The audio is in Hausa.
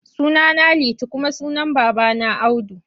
Sunana Liti kuma sunan babana Audu.